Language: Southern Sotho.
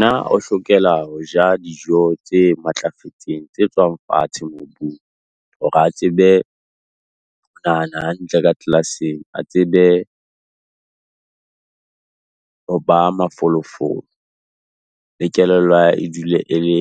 na o hlokela ho ja dijo tse matlafetseng, tse tswang fatshe mobung. Hore a tsebe nahana hantle ka class-eng, a tsebe ho ba mafolofolo, le kelello ya hae e dule e le